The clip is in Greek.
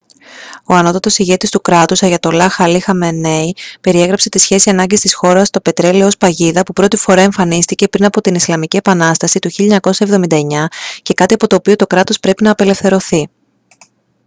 ο ανώτατος ηγέτης του κράτους αγιατολλάχ αλί χαμενεΐ περιέγραψε την σχέση ανάγκης της χώρας το πετρέλαιο ως «παγίδα» που πρώτη φορά εμφανίστηκε πριν από την ισλαμική επανάσταση του 1979 και κάτι από το οποίο το κράτος πρέπει να απελευθερωθεί